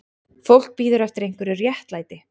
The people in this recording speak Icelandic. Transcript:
Fólk bíður eftir einhverju réttlæti